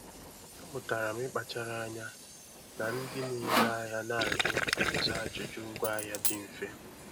Amụtala m ịkpachara anya na ndị na-ere ahịa na-ajụ ịza ajụjụ ngwaahịa dị mfe.